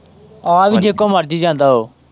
ਆ ਵੀ ਜੇਦੇ ਕੋਲ ਮਰਜੀ ਜਾਂਦਾ ਓ।